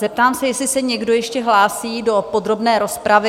Zeptám se, jestli se někdo ještě hlásí do podrobné rozpravy?